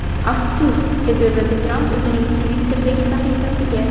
Afsus!”, deb yozadi Tramp o‘zining Twitter’dagi sahifasiga.